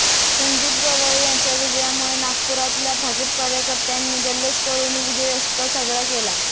संदीप गवई यांच्या विजयामुळे नागपुरातल्या भाजप कार्यकर्त्यांनी जल्लोष करून विजयोत्सव साजरा केला